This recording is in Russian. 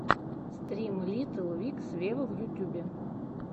стрим литтл микс вево в ютубе